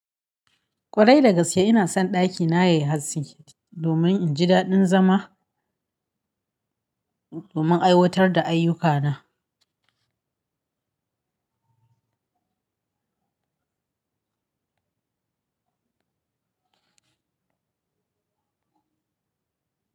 Kwarai da gaske ina son ɗakina yayi haske domin inji daɗin zama, domin aiwatar da ayyukana.